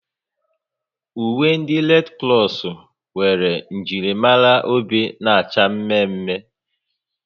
Uwe ndị Redi Kros nwere njirimara obe na-acha mme mme